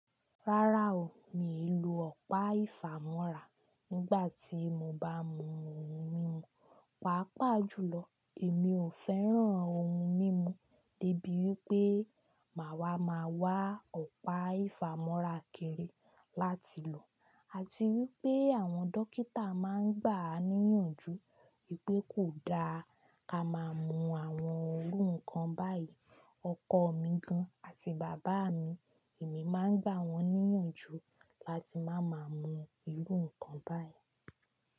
Rárá o, mi ò lo ọ̀pá ìfàmọ́ra nígbà tí mo bá mú ohun mímu. Pàápàá jùlọ, èmi ò fẹ́ràn ohun mímu dé bí wí pé màá wa máa wá ọ̀pá ìfàmọ́ra kiri láti lò, àti wí pé àwọn dókítà máa ń gbà á níyànjú wípé kò da ka máa mú àwọn irú nǹkan báyìí. Ọkọ mi gan-an àti bàbá mi, èmi máa ń gbà wọ́n níyànjú láti má máa mú irú nǹkan báyìí.